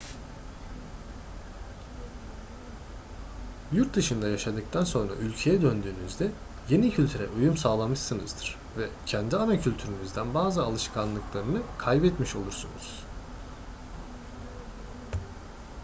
yurt dışında yaşadıktan sonra ülkeye döndüğünüzde yeni kültüre uyum sağlamışsınızdır ve kendi ana kültürünüzden bazı alışkanlıklarını kaybetmiş olursunuz